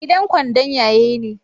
Gidan kwandon ya ye ne?